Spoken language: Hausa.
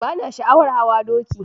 Bana sha'awar hawa doki.